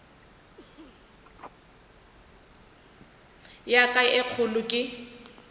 ya ka ye kgolo ke